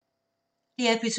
DR P2